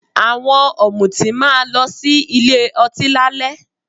Àwọn ọ̀mùtí máa lọ sí ilé ọtí lálẹ́